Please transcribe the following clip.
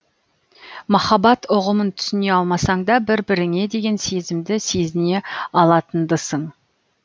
махаббат ұғымын түсіне алмасаңда бір біріңе деген сезімді сезіне алатындысың